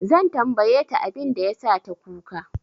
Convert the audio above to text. Zan tambaye ta abin da ya sa ta kuka.